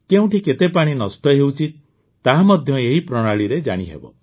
କେଉଁଠି କେତେ ପାଣି ନଷ୍ଟ ହେଉଛି ତାହା ମଧ୍ୟ ଏହି ପ୍ରଣାଳୀରେ ଜାଣିହେବ